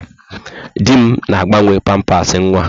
Di m na-agbanwe pampasị nwa.